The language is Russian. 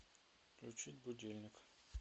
включить будильник